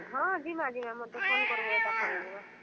ହଁ, ଯିମା ଯିମା ମତେ phone କରବ ଏକା ସାଙ୍ଗେ ଯିମା।